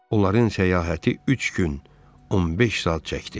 Onların səyahəti üç gün 15 saat çəkdi.